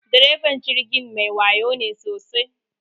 Direban jirgin mai wayo ne sosai.